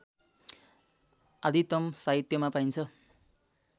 आदितम साहित्यमा पाइन्छ